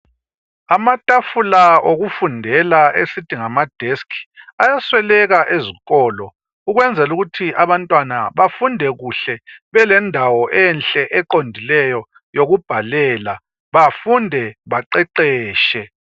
Amathafula okufundela esithi ngama desk ayasweleka ezikolo ,ukwenzelukuthi abantwana bafunde kuhle belendawo enhle eqondileyo yokubhalela bafunde baqeqeshe.